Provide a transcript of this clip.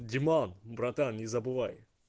братан не забывай